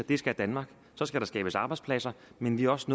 og det skal danmark så skal skabes arbejdspladser men vi er også